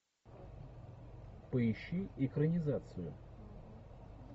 поищи экранизацию